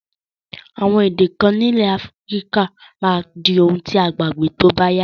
Àwon èdè kan nílẹ̀ Africa máa di oun ti a gbàgbé tóbáyá